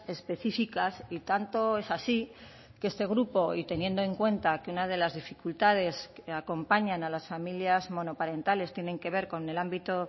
específicas y tanto es así que este grupo y teniendo en cuenta que una de las dificultades que acompañan a las familias monoparentales tienen que ver con el ámbito